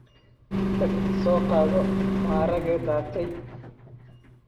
Tag soo qaado maraage daatay.